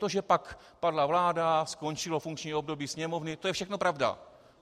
To, že pak padla vláda, skončilo funkční období Sněmovny, to je všechno pravda.